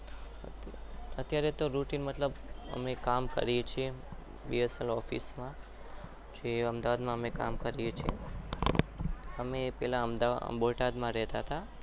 અત્યારે તો રોતી મતલબ અમે કામ કરીએ છીએ.